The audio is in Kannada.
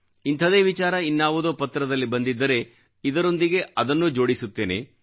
ಇಂಥದೇ ವಿಚಾರ ಇನ್ನಾವುದೋ ಪತ್ರದಲ್ಲಿ ಬಂದಿದ್ದರೆ ಇದರೊಂದಿಗೆ ಅದನ್ನೂ ಜೋಡಿಸುತ್ತೇನೆ